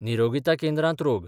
निरोगीता केंद्रांत रोग